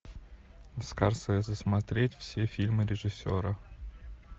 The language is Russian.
скорсезе смотреть все фильмы режиссера